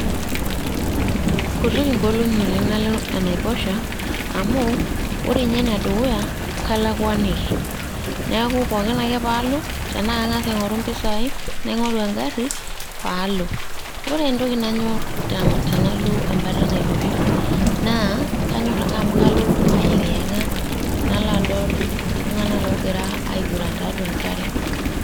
Kutuk ing'olong'i oleng' nalo enaiposha amu ore ninye ene dukuya kalakwaniki, neeku pookin ake paalo tenaa Kang'as aing'oru impisai naing'oru egarri paalo ore entoki nanyorr tenalo ebata enaiposha naa kanyorr ake amu kalo ayeng'iyang'a nalo adol iltung'anak loogira aiguran tiatua enk'are.